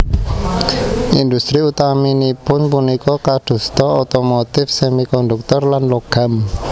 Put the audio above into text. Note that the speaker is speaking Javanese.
Industri utaminipun punika kadosta otomotif semikonduktor lan logam